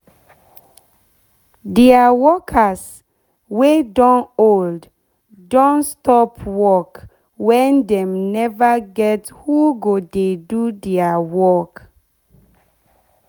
deir workers deir workers wey don old don stop work wen dem neva get who go dey do deir work